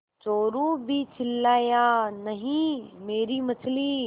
चोरु भी चिल्लाया नहींमेरी मछली